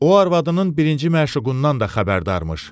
O arvadının birinci məşuqundan da xəbərdarmış.